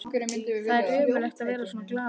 Það er ömurlegt að vera svona gallaður!